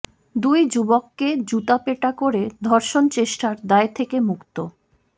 দুই যুবককে জুতা পেটা করে ধর্ষণ চেষ্টার দায় থেকে মুক্ত